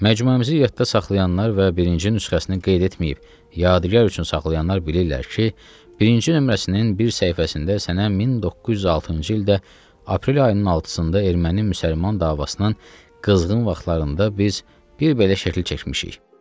Məcmuəmizi yadda saxlayanlar və birinci nüsxəsini qeyd etməyib yadigar üçün saxlayanlar bilirlər ki, birinci nömrəsinin bir səhifəsində sənə 1906-cı ildə aprel ayının 6-da erməni-müsəlman davasının qızğın vaxtlarında biz bir belə şəkil çəkmişik.